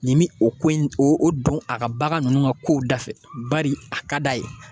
Nin bi o ko in o o don a ka bagan ninnu ka kow dafɛ bari a ka d'a ye.